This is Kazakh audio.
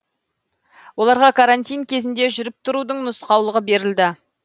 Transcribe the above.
оларға карантин кезінде жүріп тұрудың нұсқаулығы берілді